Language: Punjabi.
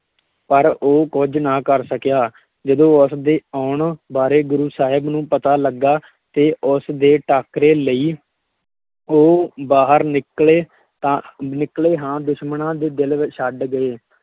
ਪਰ ਉਹ ਕੁੱਝ ਨਾ ਕਰ ਸਕਿਆ, ਜਦੋਂ ਉਸ ਦੇ ਆਉਣ ਬਾਰੇ ਗੁਰੂ ਸਾਹਿਬ ਨੂੰ ਪਤਾ ਲੱਗਾ ਤੇ ਉਸ ਦੇ ਟਾਕਰੇ ਲਈ, ਉਹ ਬਾਹਰ ਨਿਕਲੇ ਤਾਂ, ਨਿਕਲੇ ਹਾਂ ਦੁਸ਼ਮਣਾਂ ਦੇ ਦਿਲ ਵਿੱਚ ਛੱਡ ਗਏ,